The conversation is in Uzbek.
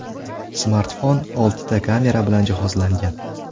Smartfon oltita kamera bilan jihozlangan.